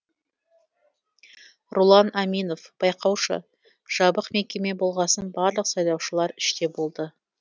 рулан аминов байқаушы жабық мекеме болғасын барлық сайлаушылар іште болды